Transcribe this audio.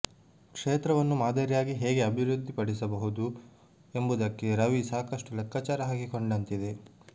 ಕ್ಷೇತ್ರವನ್ನು ಮಾದರಿಯಾಗಿ ಹೇಗೆ ಅಭಿವೃದ್ಧಿಪಡಿಸಬಹುದು ಎಂಬುದಕ್ಕೆ ರವಿ ಸಾಕಷ್ಟು ಲೆಕ್ಕಾಚಾರ ಹಾಕಿಕೊಂಡಂತಿದೆ